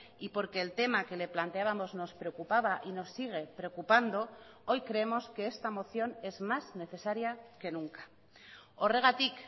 y porque el tema que le planteábamos nos preocupaba y nos sigue preocupando hoy creemos que esta moción es más necesaria que nunca horregatik